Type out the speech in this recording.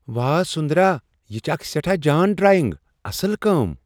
واہ! سٗندرا یہِ چھِ اكھ سیٹھاہ جان ڈرایینگ! اصل كٲم ۔